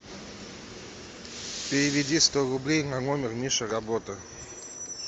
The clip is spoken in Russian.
переведи сто рублей на номер миша работа